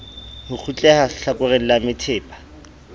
ho kgutleha hlakoreng la methepa